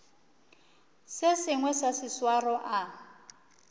se sengwe sa seswaro a